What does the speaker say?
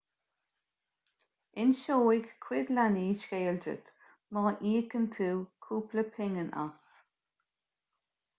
inseoidh cuid leanaí scéal duit má íocann tú cúpla pingin as